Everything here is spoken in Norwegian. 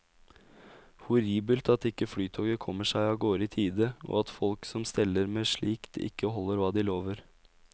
Horribelt at ikke flytoget kommer seg av gårde i tide og at folk som steller med slikt ikke holder hva de lover.